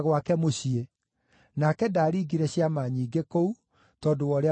Nake ndaaringire ciama nyingĩ kũu, tondũ wa ũrĩa maagĩte gwĩtĩkia.